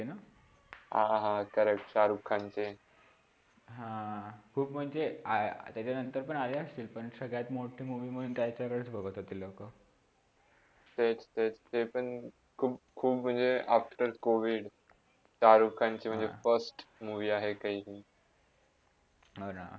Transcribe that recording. हा ना.